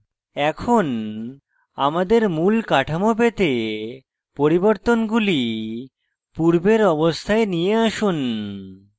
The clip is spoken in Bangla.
এখন আমাদের মূল কাঠামো পেতে পরিবর্তনগুলি পূর্বের অবস্থায় নিয়ে আসুন